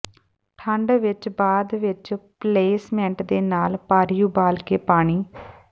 ਠੰਡ ਵਿਚ ਬਾਅਦ ਵਿਚ ਪਲੇਸਮੈਂਟ ਦੇ ਨਾਲ ਭਾਰੀ ਉਬਾਲ ਕੇ ਪਾਣੀ